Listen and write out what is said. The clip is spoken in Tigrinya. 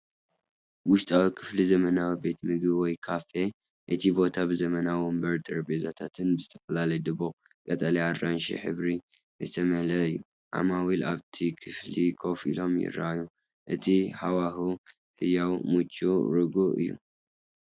ውሽጣዊ ክፍሊ ዘመናዊ ቤት ምግቢ ወይ ካፌ፣ እቲ ቦታ ብዘመናዊ መንበርን ጠረጴዛታትን ብዝተፈላለየ ድሙቕ ቀጠልያን ኣራንሺን ሕብሪ ዝተመልአ እዩ። ዓማዊል ኣብቲ ክፍሊ ኮፍ ኢሎም ይረኣዩ፤ እቲ ሃዋህው ህያውን ምቹውን ርጉእን እዩ።